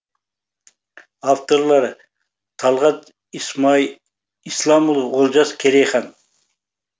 авторлары талғат исламұлы олжас керейхан